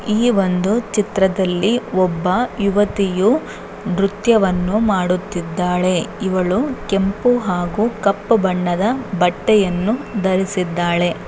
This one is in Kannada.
ಈ ಒಂದು ಚಿತ್ರದಲ್ಲಿ ಒಬ್ಬ ಯುವತಿಯು ನೃತ್ಯವನ್ನು ಮಾಡುತ್ತಿದ್ದಾಳೆ. ಇವಳು ಕೆಂಪು ಹಾಗೂ ಕಪ್ಪು ಬಣ್ಣದ ಬಟ್ಟೆಯನ್ನು ಧರಿಸಿದ್ದಾಳೆ.